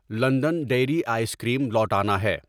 London Dairy ice cream لوٹانا ہے